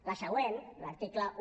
la següent l’article un